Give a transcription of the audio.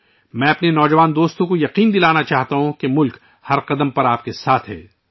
میں اپنے نوجوان ساتھیوں کو یقین دلانا چاہتا ہوں کہ ملک ہر قدم پر آپ کے ساتھ ہے